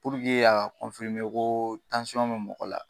ko bɛ mɔgɔ la